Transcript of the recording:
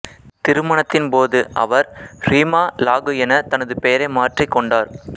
திருமணத்தின் போது அவர் ரீமா லாகு என தனது பெயரை மாற்றிக் கொண்டார்